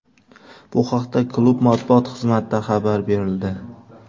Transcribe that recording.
Bu haqda klub matbuot xizmatida xabar berildi .